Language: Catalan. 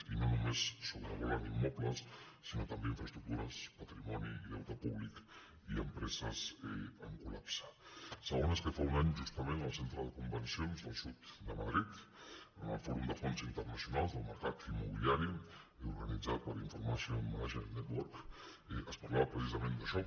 i no només sobrevolen immobles sinó també infraestructures patrimoni i deute públic i empreses en col·segona és que fa un any justament al centre de convencions del sud de madrid en el fòrum de fons internacionals del mercat immobiliari i organitzat per information management network es parlava precisament d’això